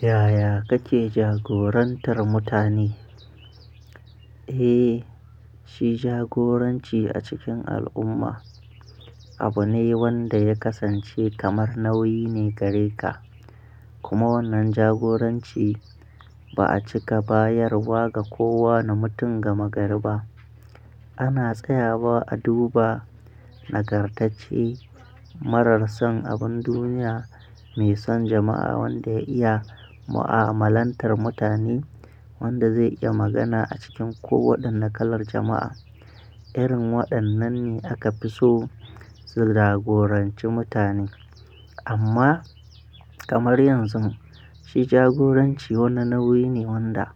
Yaya kake jagorantar mutane? Eh, shi jagoranci a cikin al'umma abu ne wanda ya kasance kamar nauyi ne gare ka. Kuma wannan jagoranci, ba'a cika bayarwa ga kowane mutum gama-gari ba. Ana tsaya wa a duba, nagartacce, marar san abun duniya, mai san jama'a wanda ya iya, mu'amalantar mutane wanda zai iya magana a cikin ko waɗanne kalar jama'a, Irin waɗannan ne aka fi so, su jagoranci mutane. Amma, kamar yanzun, shi jagoranci wani nauyi ne wanda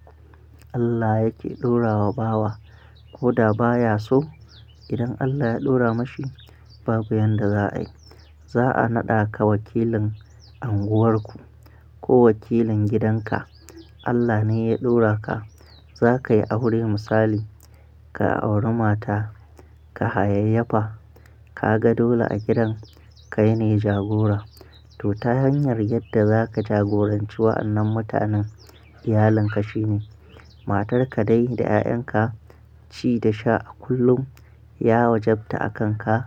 Allah yake ɗora wa bawa, ko da baya so, idan Allah ya ɗora mashi, babu yanda za'a yi. Za'a naɗa ka wakilin anguwarku, ko wakilin gidanka, Allah ne ya ɗora ka. Za ka yi aure misali, ka auri mata, ka hayayyafa, ka ga dole a gidan, kai ne jagora. To ta hanyar yadda za ka jagoranci wa'annan mutanen, iyalin ka shine, Matarka dai da 'ya'yanka, ci da sha a kullum, ya wajabta a kan ka,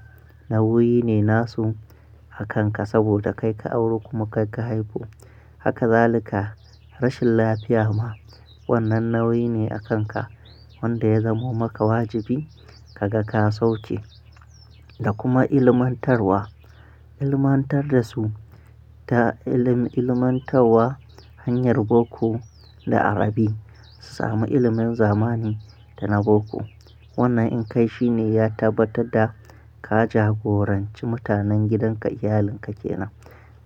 nauyi ne nasu a kan ka, saboda kai ka auro kuma kai ka haifo. Haka zali ka, rashin lafiya ma, wannan nauyi ne a kan ka, wanda ya zamo maka wajibi ka ga ka sauke. Da kuma ilmantarwa, ilmantar da su, ta ilim-ilmantarwa, hanyar boko da Arabi. Su sami ilimin zamani da na boko. Wannan in kai shi ne ya tabbatar da, ka jagoranci mutanen gidanka, iyalin ka ke nan.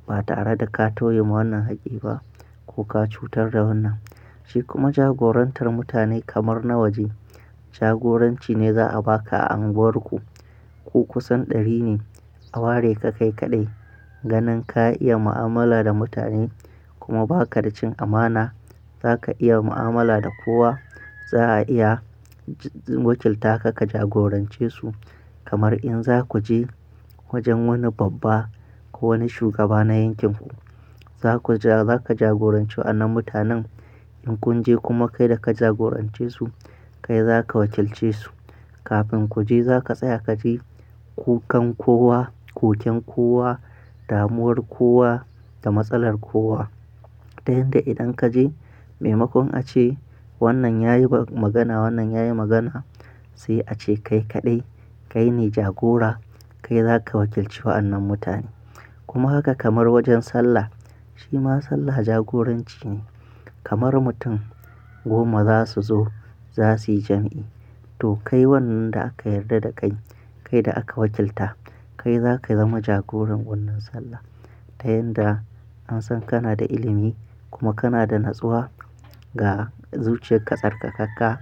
Ba tare da ka toye ma wannan haƙƙi ba, ko ka cutar da wannan. Shi kuma jagorantar mutane kamar na waje, jagoranci ne za'a ba ka a anguwarku, Ku kusan ɗari ne, a ware ka kai kaɗai, ganin ka iya mu'amala da mutane, kuma ba ka da cin amana. Za ka iya mu'amala da kowa. Za'a iya, wakilta ka ka jagorance su, kamar in za ku je, wajen wani babba ko wani shugaba na yankin ku. Za ku ja-za ka jagoranci wa'annan mutanen. In kun je kuma kai da ka jagorance su, kai za ka wakilce su. Kafin ku je za ka tsaya ka ji kukan kowa, koken kowa, damuwar kowa da matsalar kowa. Ta yanda idan ka je, maimakon a ce, wannan ya yi magana, wannan ya yi magana sai a ce kai kaɗai, kai ne jagora, kai za ka wakilci wa'annan mutane. Kuma haka kamar wajen sallah, shi ma sallah jagoranci ne. Kamar mutum goma za su zo za su yi jam'i. To kai wannan da aka yarda da kai, kai da aka wakilta, kai za ka zama jagoran wannan sallah. Ta yanda, an san kana da ilimi kuma kana da natsuwa, ga zuciyar ka tsar ka Haka,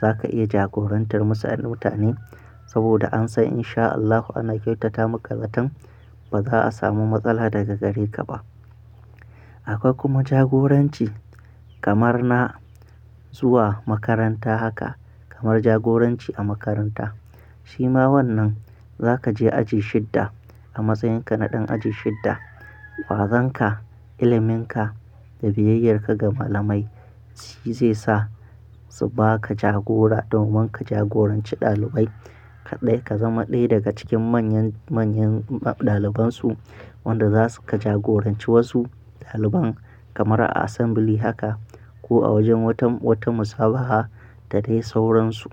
za ka iya jagorantar masa'an mutane, saboda an san in sha Allahu ana kyautata maka zatan, ba za'a samu matsala daga gare ka ba. Akwai kuma jagoranci kamar na zuwa makaranta haka kamar jagoranci a makaranta. Shi ma wannan, za ka je aji shidda, a matsayin ka na ɗan aji shidda. Ƙwazon ka, ilimin ka da biyayyar ka ga malamai, shi zai sa su ba ka jagora, domin ka jagoranci ɗalibai. Kaɗai ka zama ɗaya daga cikin manyan, manyan ɗaliban su, wanda za su ka jagoranci wasu ɗaliban kamar a assembly haka ko a wajen watan, wata musabaha, da dai sauransu.